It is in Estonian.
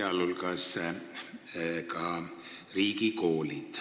Muu hulgas puudutab see riigikoole.